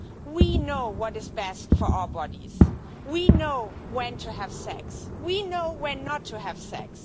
We know what is best for our bodies. We know when to have sex, we know when not to have sex.